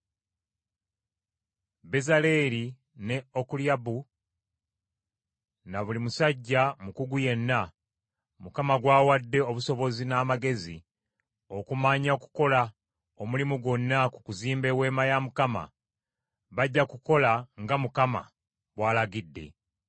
“Bezaaleeri ne Okoliyaabu ne buli musajja mukugu yenna, Mukama gw’awadde obusobozi n’amagezi okumanya okukola omulimu gwonna ku kuzimba eweema ya Mukama , bajja kukola nga Mukama bw’alagidde.”